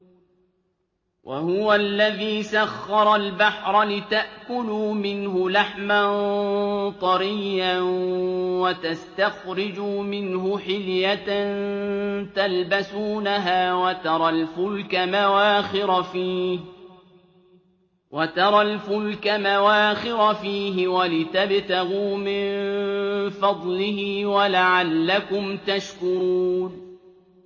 وَهُوَ الَّذِي سَخَّرَ الْبَحْرَ لِتَأْكُلُوا مِنْهُ لَحْمًا طَرِيًّا وَتَسْتَخْرِجُوا مِنْهُ حِلْيَةً تَلْبَسُونَهَا وَتَرَى الْفُلْكَ مَوَاخِرَ فِيهِ وَلِتَبْتَغُوا مِن فَضْلِهِ وَلَعَلَّكُمْ تَشْكُرُونَ